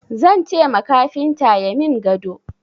Zan ce ma kafinta ya min gado.